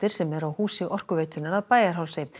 sem eru á húsi Orkuveitunnar að Bæjarhálsi